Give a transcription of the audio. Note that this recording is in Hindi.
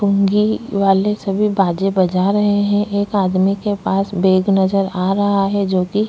पुंगी वाले सभी बाजे बजा रहै है एक आदमी के पास बेग नजर आ रहा है जो की--